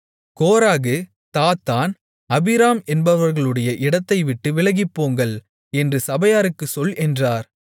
கோராகு Dathan Abiram என்பவர்களுடைய இடத்தை விட்டு விலகிப்போங்கள் என்று சபையாருக்குச் சொல் என்றார்